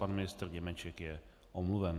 Pan ministr Němeček je omluven.